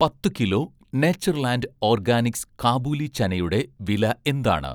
പത്ത്‌ kilo 'Natureland' Organics Kabuli ചനയുടെ വില എന്താണ്?